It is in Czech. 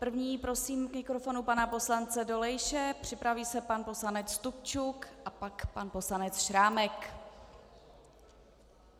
První prosím k mikrofonu pana poslance Dolejše, připraví se pan poslanec Stupčuk a pak pan poslanec Šrámek.